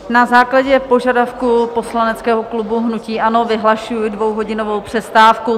Na základě požadavku poslaneckého klubu hnutí ANO vyhlašuji dvouhodinovou přestávku.